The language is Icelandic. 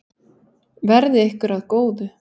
Verði ykkur að góðu.